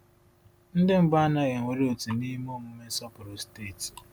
Ndị mbụ anaghị ewere òtù n’ime omume nsọpụrụ steeti.